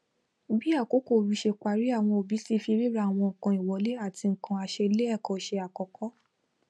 bí àkókò oru sé paríáwọn òbí ti fi ríra àwọn nkan ìwọlé àti nkan a se lé èkó se àkókó